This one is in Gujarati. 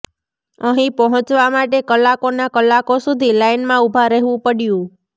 અહીં પહોંચવા માટે કલાકોના કલાકો સુધી લાઇનમાં ઉભા રહેવું પડ્યું